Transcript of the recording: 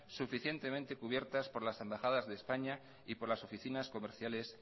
suficientemente cubiertas por las embajadas de españa y por las oficinas comerciales